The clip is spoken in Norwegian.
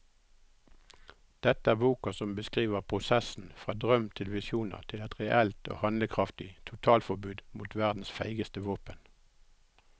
Dette er boka som beskriver prosessen fra drøm til visjoner til et reelt og handlekraftig totalforbud mot verdens feigeste våpen.